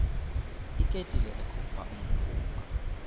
iketile ekhupha umphunga